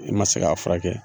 I ma se k'a furakɛ